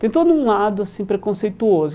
Tem todo um lado assim preconceituoso.